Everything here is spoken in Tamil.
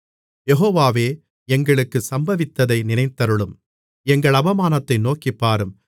யெகோவாவே எங்களுக்குச் சம்பவித்ததை நினைத்தருளும் எங்கள் அவமானத்தை நோக்கிப்பாரும்